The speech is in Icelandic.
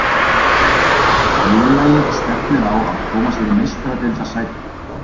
Félagið stefnir á að koma sér í Meistaradeildarsæti.